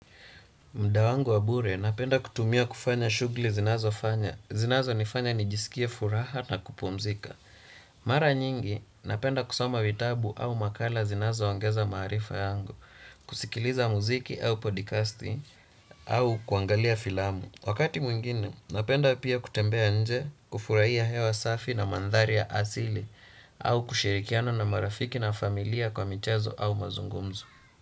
Muda wangu wa bure, napenda kutumia kufanya shughuli zinazonifanya nijisikie furaha na kupumzika. Mara nyingi, napenda kusoma vitabu au makala zinazoongeza maarifa yangu, kusikiliza muziki au podcasti, au kuangalia filamu. Wakati mwingine, napenda pia kutembea nje, kufurahia hewa safi na mandhari ya asili, au kushirikiano na marafiki na familia kwa michezo au mazungumzu.